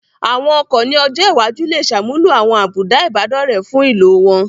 Àwọn ọkọ̀ ní ọjọ́ iwájú lè ṣàmúlò àwọn àbùdá Ìbádọ́rẹ̀ẹ́ fún ìlò wọn